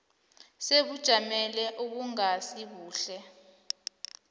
sebujameni obungasi buhle